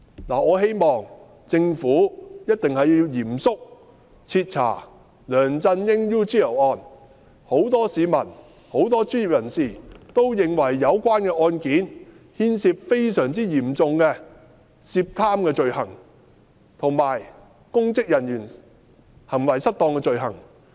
我希望政府一定要嚴肅徹查梁振英 "UGL 事件"，因為很多市民及專業人士都認為該事件牽涉非常嚴重的貪污罪行，以及公職人員行為失當的罪行。